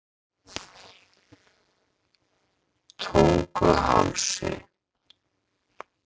Tunguhálsi